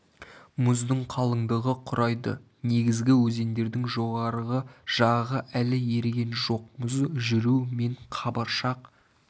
мұздың қалыңдығы құрайды негізгі өзендердің жоғарғы жағы әлі еріген жоқ мұз жүру мен қабыршақ